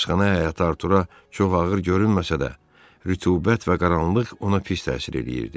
Həbsxana həyəti Artura çox ağır görünməsə də, rütubət və qaranlıq ona pis təsir eləyirdi.